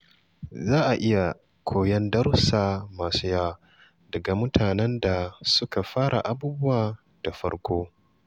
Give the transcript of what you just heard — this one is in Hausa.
Za a iya koyon darussa masu yawa daga mutanen da suka fara abubuwa daga farko.